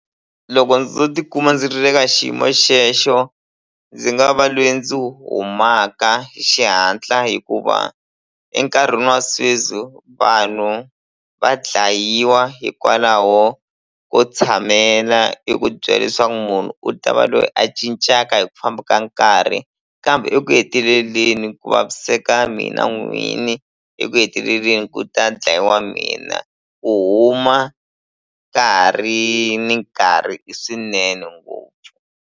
Loko ndzo tikuma ndzi ri le ka xiyimo xexo ndzi nga va lweyi ndzi humaka hi xihatla hikuva enkarhini wa sweswi vanhu va dlayiwa hikwalaho ko tshamela eku byela leswaku munhu u ta va loyi a cincaka hi ku famba ka nkarhi kambe eku heteleleni ku vaviseka mina n'wini eku heteleleni ku ta dlayiwa mina ku huma ka ha ri ni nkarhi i swinene ngopfu.